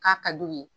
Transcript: K'a ka d'u ye